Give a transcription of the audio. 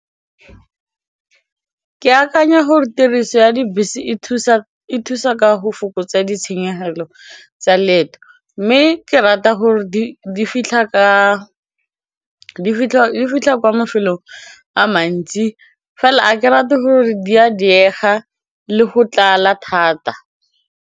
Ke akanya gore tiriso ya dibese e thusa ka go fokotsa ditshenyegelo tsa leeto mme ke rata gore di fitlha kwa mafelong a mantsi fela a ke rate gore di a diega le go tlala thata.